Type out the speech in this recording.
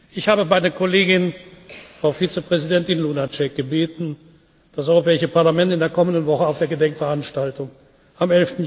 lebendig sind. Ich habe meine Kollegin, Frau Vizepräsidentin Lunacek, gebeten, das Europäische Parlament in der kommenden Woche auf der Gedenkveranstaltung